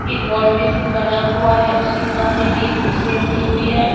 एक wash basin बना हुआ है उसके सामने भी एक कुर्सी रखी हुई है।